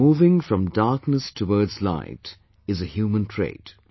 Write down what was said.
But moving from darkness toward light is a human trait